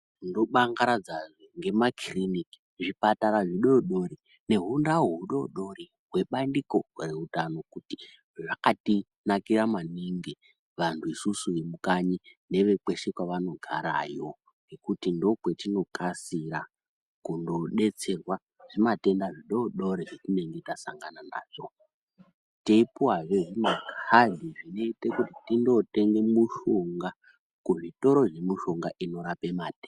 Ndo bangaradza zve ngema kiriniki zvipatara zvi dodori ne hundau hu dodori hwe bandiko re utano kuti zvakati nakira maningi vantu isusu ve mukanyi neve kweshe kwavano garayo ngekuti ndo kwetino kasira kundo detserwa zvi matenda zvidodori zvetinenge ta sangana nazvo tei puwa he zvi makadhi zvino ita kotenge mushonga ku zvitoro zve mushonga ino rape matenda.